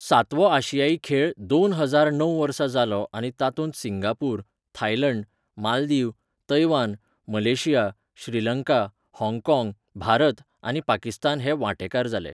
सातवो आशियाई खेळ दोन हजार णव वर्सा जालो आनी तातूंत Singapore, Thailand, Maldives, Taiwan, Malaysia, Sri Lanka, हाँगकाँग, भारत, आनी पाकिस्तान हे वांटेकार जाले.